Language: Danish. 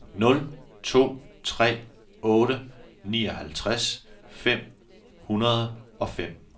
nul to tre otte nioghalvtreds fem hundrede og fem